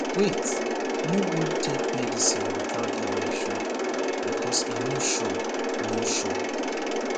wait no go take medicine without direction becoz e no sure no sure